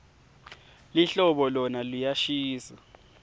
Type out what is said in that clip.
lihlobo lona liyashisa